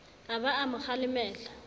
a ba a mo kgalemela